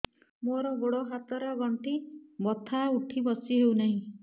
ମୋର ଗୋଡ଼ ହାତ ର ଗଣ୍ଠି ବଥା ଉଠି ବସି ହେଉନାହିଁ